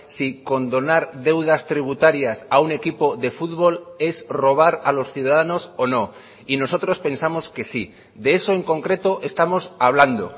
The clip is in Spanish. si condonar deudas tributarias a un equipo de fútbol es robar a los ciudadanos o no y nosotros pensamos que sí de eso en concreto estamos hablando